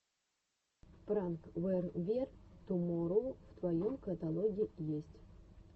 пранк вэр вер туморроу в твоем каталоге есть